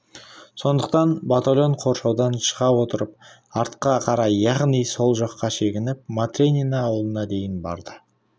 сондықтан батальон қоршаудан шыға отырып артқа қарай яғни сол жаққа шегініп матренино ауылына дейін барды